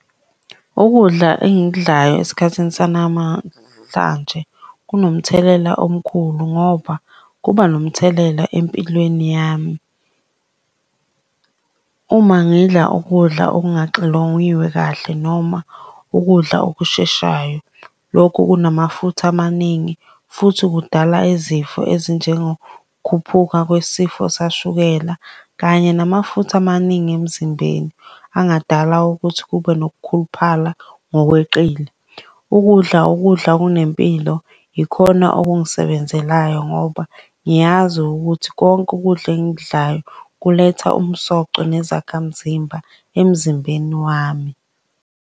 Ukudla engikudlayo esikhathini sanamahlanje kunomthelela omkhulu ngoba kuba nomthelela empilweni yami. Uma ngidla ukudla okungaxilongiwe kahle noma ukudla okusheshayo. Lokhu okunamafutha amaningi, futhi kudala izifo ezinjengokhuphuka kwesifo sashukela, kanye namafutha amaningi emzimbeni angadala ukuthi kube nokukhuluphala ngokweqile. Ukudla ukudla okunempilo, yikhona okungisebenzelayo ngoba ngiyazi ukuthi konke ukudla engikudlayo kuletha umsoco nezakhamzimba emzimbeni wami.